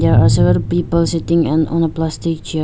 There are several people sitting and on a plastic chair.